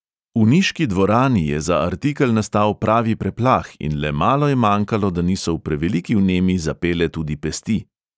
V niški dvorani je za artikel nastal pravi preplah in le malo je manjkalo, da niso v preveliki vnemi zapele tudi pesti.